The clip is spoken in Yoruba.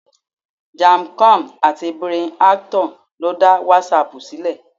Jan Koum àti Brian Acton lo da WhatsApp ṣílẹ̀.